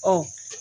Ɔ